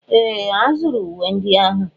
Ee! A zụrụ uwe ndị ahụ.